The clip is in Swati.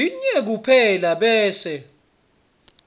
linye kuphela bese